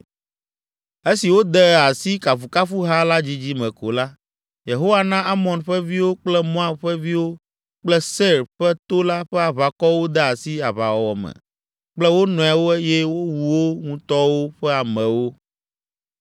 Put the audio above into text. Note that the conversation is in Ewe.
Esi wode asi kafukafuha la dzidzime ko la, Yehowa na Amon ƒe viwo kple Moab ƒe viwo kple Seir ƒe to la ƒe aʋakɔwo de asi aʋawɔwɔ me kple wo nɔewo eye wowu wo ŋutɔwo ƒe amewo!